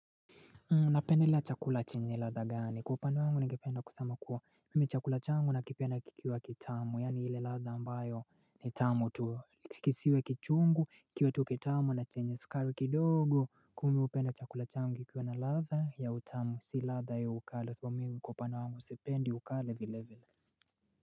Napendelea chakula chenye ladha gani kwa upande wangu ningependa kusama kuwa mimi chakula changu na kipenda kikiwa kitamu yaani ile ladha ambayo ni tamu tu kisiwe kichungu kiwe tu kitamu na chenye skari kidogo kua mi upenda chakula changu kikiwa na ladha ya utamu si ladha ya ukali sasa mimi kwa upande wangu sipendi ukali vile vile.